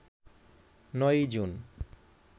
৯ June